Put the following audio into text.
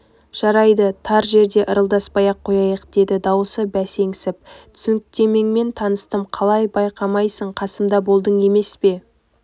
жарайды тар жерде ырылдаспай-ақ қояйық деді дауысы бәсеңсіп түсініктемеңмен таныстым қалай байқамайсың қасымда болдың емес пе